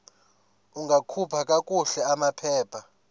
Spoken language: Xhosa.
ungakhupha kakuhle amaphepha